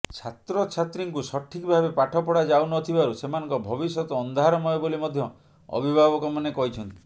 ଛାତ୍ରଛାତ୍ରୀଙ୍କୁ ସଠିକ୍ ଭାବେ ପାଠ ପଢ଼ା ଯାଉନଥିବାରୁ ସେମାନଙ୍କ ଭବିଷ୍ୟତ ଅନ୍ଧାରମୟ ବୋଲି ମଧ୍ୟ ଅଭିଭାବକ ମାନେ କହିଛନ୍ତି